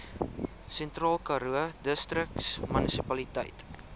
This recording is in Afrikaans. sentraalkaroo distriksmunisipaliteit